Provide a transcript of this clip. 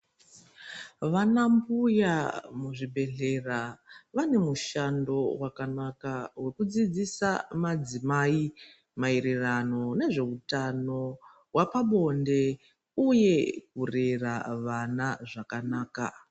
Vana mbuya muzvibhedhlera vane mushando wakanaka wekudzidzisa madzimai maererano nezveutano hwepabonde uye kurera vana zvakanaka.